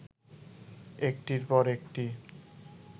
একটির পর একটি